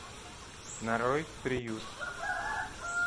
нарой приют